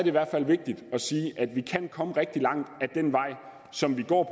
i hvert fald vigtigt at sige at vi kan komme rigtig langt ad den vej som vi går